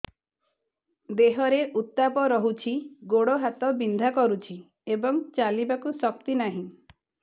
ଦେହରେ ଉତାପ ରହୁଛି ଗୋଡ଼ ହାତ ବିନ୍ଧା କରୁଛି ଏବଂ ଚାଲିବାକୁ ଶକ୍ତି ନାହିଁ